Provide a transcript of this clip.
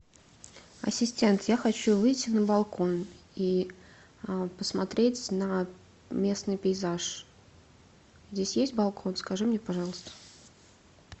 ассистент я хочу выйти на балкон и посмотреть на местный пейзаж здесь есть балкон скажи мне пожалуйста